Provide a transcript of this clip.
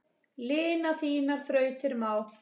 Lina þínar þrautir má.